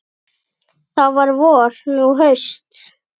Þá var vor, nú haust.